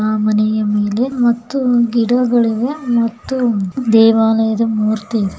ಆ ಮನೆಯ ಮೇಲೆ ಮತ್ತು ಗಿಡಗಳಿವೆ ಮತ್ತು ದೇವಾಲಯದ ಮೂರ್ತಿ --